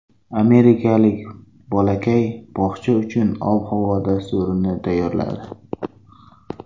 Amerikalik bolakay bog‘cha uchun ob-havo dasturini tayyorladi .